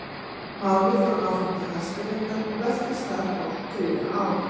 Málið fór áfram til Hæstaréttar og velktist þar hálft þriðja ár.